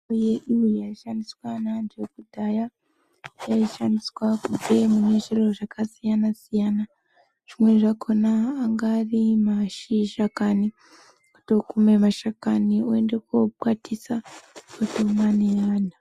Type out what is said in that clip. Mitombo yedu yaishandiswa neantu akudhaya yaishandiswa kubve mune zviro zvakasiyana-siyana. Zvimweni zvakona angaari mashizha kani kutokume mashakani oenda kokwatisa otomwe neana.